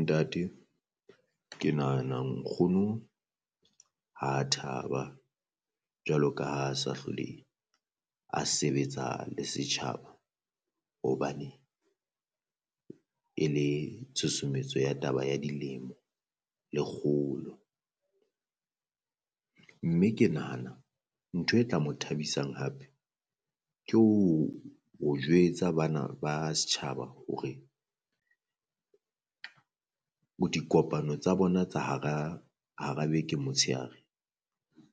Ntate ke nahana nkgono ha thaba jwalo ka ha sa hlole a sebetsa le setjhaba, hobaneng e le tshusumetso ya taba ya dilemo le kgolo. Mme ke nahana ntho e tla mo thabisang hape ke ho ho jwetsa bana ba setjhaba hore o dikopano tsa bona tsa hara hara beke motshehare